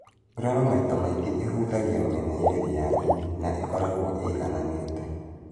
Nguraro maita maingĩ ĩhutagia mĩena yerĩ ya ini na ĩkoragwo ĩigananĩte